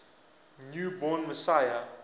new born messiah